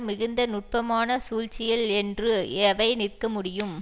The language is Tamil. மிகுந்த நுட்பமான சூழ்ச்சிகள் என்று எவை நிற்கமுடியும்